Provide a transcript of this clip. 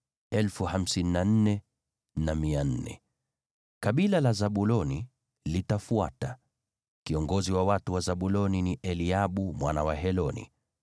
Kabila la Zabuloni litafuata. Kiongozi wa watu wa Zabuloni ni Eliabu mwana wa Heloni.